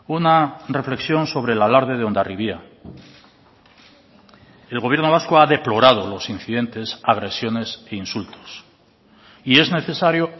una reflexión sobre el alarde de hondarribia el gobierno vasco ha deplorado los incidentes agresiones e insultos y es necesario